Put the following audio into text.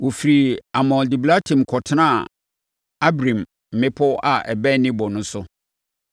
Wɔfirii Almon Diblataim kɔtenaa Abarim mmepɔ a ɛbɛn Nebo no so.